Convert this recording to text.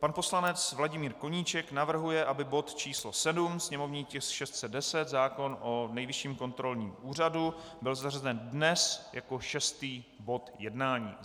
Pan poslanec Vladimír Koníček navrhuje, aby bod číslo 7, sněmovní tisk 610, zákon o Nejvyšším kontrolním úřadu, byl zařazen dnes jako šestý bod jednání.